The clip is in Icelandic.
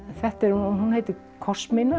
hún heitir